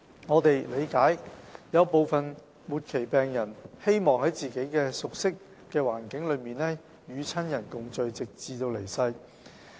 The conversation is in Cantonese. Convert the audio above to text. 我們理解有部分末期病人希望在自己熟悉的環境中與親人共聚，直至離世。